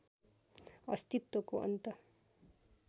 अस्तित्वको अन्त